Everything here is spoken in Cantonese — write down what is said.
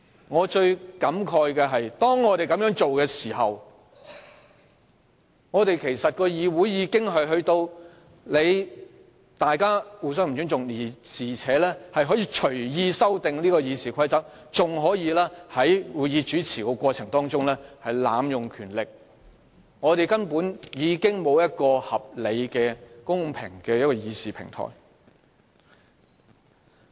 我最感慨的是，在這情況下，主席其實造成議員之間互不尊重，而且讓相關議員隨意修訂《議事規則》，更在主持會議的過程中濫用權力，剝奪我們一個公平合理的議事平台。